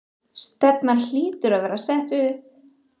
Stefnan hlýtur að vera sett upp?